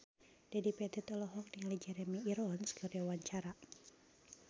Dedi Petet olohok ningali Jeremy Irons keur diwawancara